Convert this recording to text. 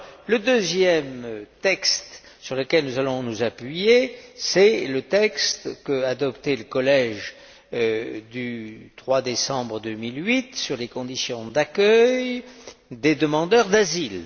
Le deuxième texte sur lequel nous allons nous appuyer est celui qu'a adopté le collège le 3 décembre 2008 sur les conditions d'accueil des demandeurs d'asile.